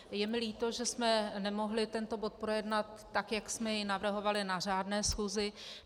Je mi líto, že jsme nemohli tento bod projednat tak, jak jsme jej navrhovali, na řádné schůzi.